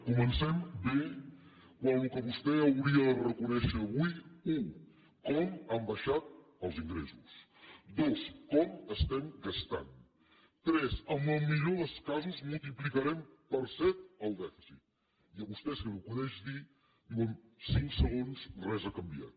comencem bé quan el que vostè hauria de reconèixer avui és u com han baixat els ingressos dos com estem gastant tres que en el millor dels casos multiplicarem per set el dèficit i a vostè se li acudeix dir en cinc segons res ha canviat